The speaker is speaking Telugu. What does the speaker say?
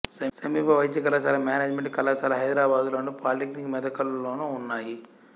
సమీప వైద్య కళాశాల మేనేజిమెంటు కళాశాల హైదరాబాదులోను పాలీటెక్నిక్ మెదక్లోనూ ఉన్నాయి